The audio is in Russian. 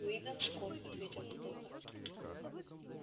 уидон скотт ответил кто-то